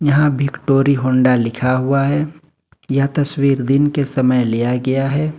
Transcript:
यहां भी डोरी होंडा लिखा हुआ है यह तस्वीर दिन के समय लिया गया है।